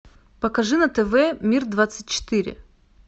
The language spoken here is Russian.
покажи на тв мир двадцать четыре